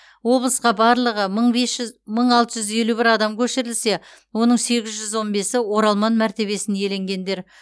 облысқа барлығы мың алты жүз елу бір адам көшірілсе оның сегіз жүз он бесі оралман мәртебесін иеленгендер